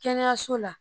Kɛnɛyaso la